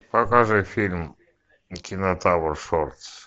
покажи фильм кинотавр шортс